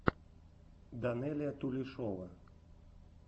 данелия тулешова